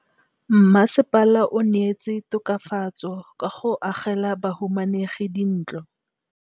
Mmasepala o neetse tokafatsô ka go agela bahumanegi dintlo.